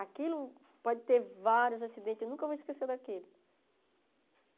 Aquilo pode ter vários acidentes, eu nunca vou esquecer daquele.